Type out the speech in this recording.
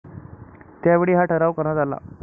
त्यावेळी हा ठराव करण्यात आला.